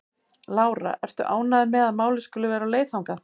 Lára: Ertu ánægður með að málið skuli vera á leið þangað?